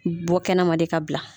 Bɔ kɛnɛma de ka bila.